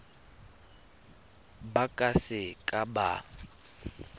ba ka se ka ba